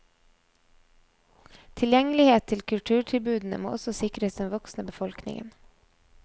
Tilgjengelighet til kulturtilbudene må også sikres den voksne befolkningen.